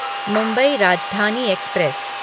Mumbai Rajdhani express